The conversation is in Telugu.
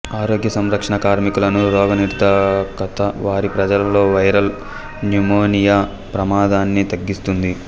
ఆరోగ్య సంరక్షణ కార్మికులను రోగనిరోధకత వారి ప్రజలలో వైరల్ న్యుమోనియా ప్రమాదాన్ని తగ్గిస్తుంది